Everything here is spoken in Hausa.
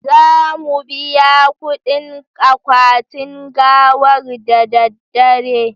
Za mu biya kudin akwatin gawar da daddare